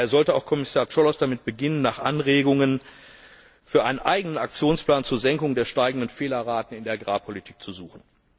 Daher sollte auch Kommissar Cioloş damit beginnen, nach Anregungen für einen eigenen Aktionsplan zur Senkung der steigenden Fehlerraten in der Agrarpolitik zu suchen.